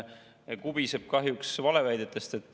Ja kubiseb kahjuks valeväidetest.